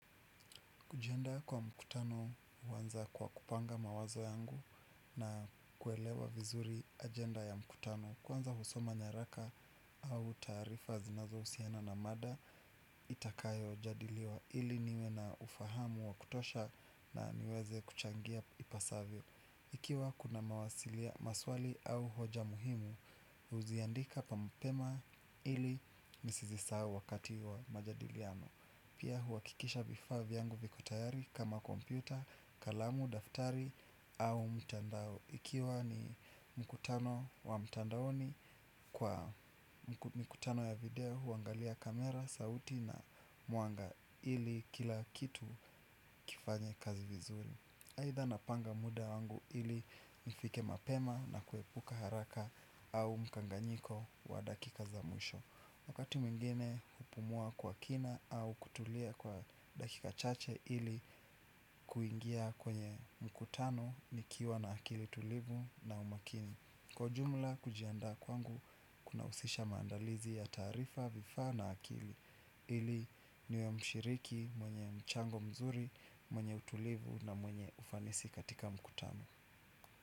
Kujianda kwa mkutano uwanza kwa kupanga mawazo yangu na kuelewa vizuri ajenda ya mkutano. Kwanza husoma nyaraka au taarifa zinazo usiana na mada itakayo jadiliwa ili niwe na ufahamu wa kutosha na niweze kuchangia ipasavyo. Ikiwa kuna mawasilia maswali au hoja muhimu, uziandika pa mapema ili nisizisau wakati wa majadiliano. Pia huakikisha vifaa vyangu viko tayari kama kompyuta, kalamu, daftari au mtandao. Ikiwa ni mkutano wa mtandaoni kwa mikutano ya video huangalia kamera, sauti na mwanga ili kila kitu kifanye kazi vizuri. Haitha napanga muda wangu ili nifike mapema na kuepuka haraka au mkanganyiko wa dakika za mwisho. Wakati mwingine hupumua kwa kina au kutulia kwa dakika chache ili kuingia kwenye mkutano nikiwa na akili tulivu na umakini. Kwa jumla kujiandaa kwangu kuna usisha maandalizi ya taarifa vifaa na akili. Ili niwe mshiriki mwenye mchango mzuri mwenye utulivu na mwenye ufanisi katika mkutano.